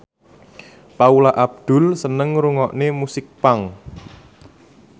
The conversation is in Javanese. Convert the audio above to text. Paula Abdul seneng ngrungokne musik punk